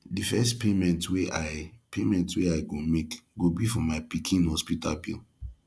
the first payment wey i payment wey i go make go be for my pikin hospital bill